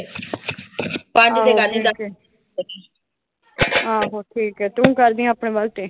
ਆਹੋ ਠੀਕ ਆ, ਤੂੰ ਕਰਦੀ ਆਪਣੇ ਵਾਸਤੇ।